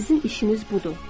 Sizin işiniz budur.